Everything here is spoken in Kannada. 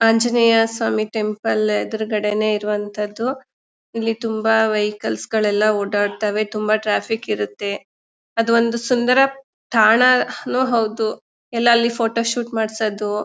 ಆಂಜನೇಯ ಸ್ವಾಮಿ ಟೆಂಪಲ್ ಎದ್ರುಗಡೆನೇ ಇರುವನ್ತದ್ದು ಇಲ್ಲಿ ತುಂಬಾ ವೆಹಿಕಲ್ಸ್ ಗಳೆಲ್ಲ ಓಡಾಡ್ತವೆ ತುಂಬಾ ಟ್ರಾಫಿಕ್ ಇರುತ್ತೆ. ಅದು ಒಂದು ಸುಂದರ ತಾಣ ನೂ ಹೌದು ಎಲ್ಲಾ ಅಲ್ಲಿ ಫೋಟೋ ಶೂಟ್ ಮಾಡ್ಸದು--